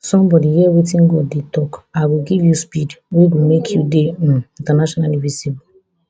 somebody hear wetin god dey tok i go give you speed wey go make you dey um internationally visible